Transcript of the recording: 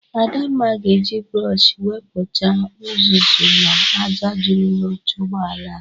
Adamna ga-eji brọshi wepụcha ụzụzụ na aja jụrụ n'oche ụgbọala a.